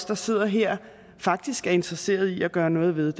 der sidder her faktisk er interesseret i at gøre noget ved